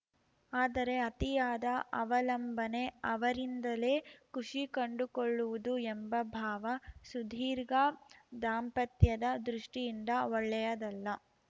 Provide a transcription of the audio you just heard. ಆದರೆ ಅತಿಯಾದ ಅವಲಂಬನೆ ಅವರಿಂದಲೇ ಖುಷಿ ಕಂಡುಕೊಳ್ಳುವುದು ಎಂಬ ಭಾವ ಸುದೀರ್ಘ ದಾಂಪತ್ಯದ ದೃಷ್ಟಿಯಿಂದ ಒಳ್ಳೆಯದಲ್ಲ